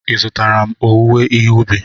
Ị zụtara mma owuwe ihe ubi?